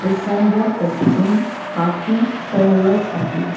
the sign board that written parking parallel only.